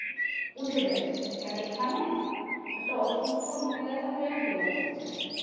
উঠে যায় seat থেকে আর এখানে একটা অসুস্থ মহিলা থাকলেও কেউ উঠতে চায় না